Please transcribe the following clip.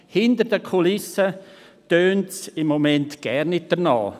Hinter den Kulissen klingt es zurzeit gar nicht danach.